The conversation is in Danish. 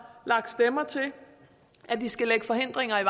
lagt stemmer til at de skal lægge forhindringer i